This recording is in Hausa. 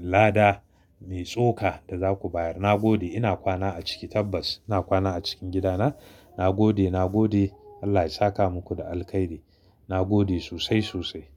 lada mai tsoka da za ku bayar. Na gode ina kwana a ciki tabbas. Ina kwana a cikin gidana. Na gode, na gode Allah ya saka muku da alkhairi. Na gode sosai, sosai.